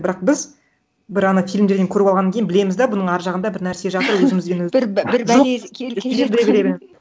бірақ біз бір ана фильмдерден көріп алғаннан кейін білеміз да бұның әр жағында бір нәрсе жатыр өзімізбен бір бір бәле жоқ келе жатқанын